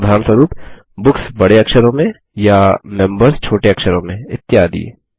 उदाहरणस्वरुप बुक्स बड़े अक्षरों में या मेंबर्स छोटे अक्षरों में इत्यादि